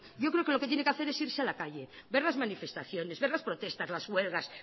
yo creo que lo que tiene que hacer es irse a la calle ver las manifestaciones ver las protestas las huelgas